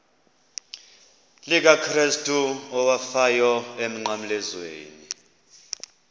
likakrestu owafayo emnqamlezweni